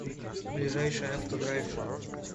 ближайший авто драйв